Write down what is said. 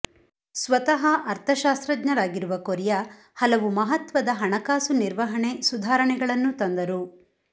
ಸ್ವತಃ ಅರ್ಥಶಾಸ್ತ್ರಜ್ಞರಾಗಿರುವ ಕೊರಿಯ ಹಲವು ಮಹತ್ವದ ಹಣಕಾಸು ನಿರ್ವಹಣೆ ಸುಧಾರಣೆಗಳನ್ನೂ ತಂದರು